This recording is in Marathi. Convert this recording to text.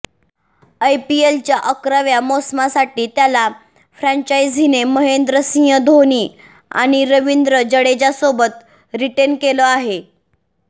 यपीएलच्या अकराव्या मोसमासाठी त्याला फ्रँचायझीने महेंद्रसिंह धोनी आणि रवींद्र जाडेजासोबत रिटेन केलं आहे